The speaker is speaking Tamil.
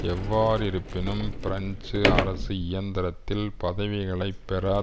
எவ்வாறிருப்பினும் பிரெஞ்சு அரசு இயந்திரத்தில் பதவிகளைப் பெற